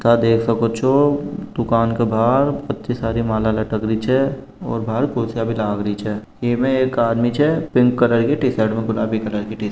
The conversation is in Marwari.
ता देख सक्यो छो दूकान के बाहर इत्ती सारी माला लटक री छे और बाहर कुर्सिया भी लागरी छे इमे एक आदमी छे पिंक कलर की टीशर्ट में गुलाबी कलर की टीशर्ट --